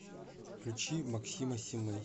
включи максима симэй